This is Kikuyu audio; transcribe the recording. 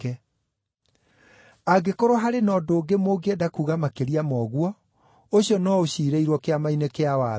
Angĩkorwo harĩ na ũndũ ũngĩ mũngĩenda kuuga makĩria ma ũguo, ũcio no ũciirĩirwo kĩama-inĩ kĩa watho.